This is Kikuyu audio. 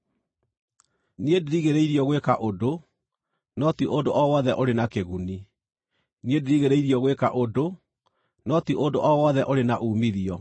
“Niĩ ndirigĩrĩirio gwĩka ũndũ,” no ti ũndũ o wothe ũrĩ na kĩguni. “Niĩ ndirigĩrĩirio gwĩka ũndũ,” no ti ũndũ o wothe ũrĩ na uumithio.